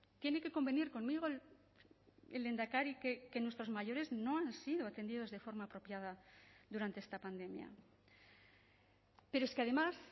tiene que convenir conmigo el lehendakari que nuestros mayores no han sido atendidos de forma apropiada durante esta pandemia pero es que además